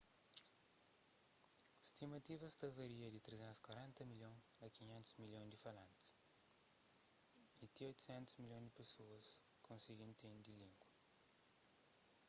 stimativas ta varia di 340 milhon a 500 milhon di falantis y ti 800 milhon di pesoas konsigi intende língua